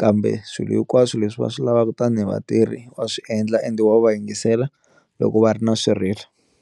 kambe swilo hinkwaswo leswi va swi lavaka tanihi vatirhi va swiendla ende va va yingisela loko va ri na swirilo.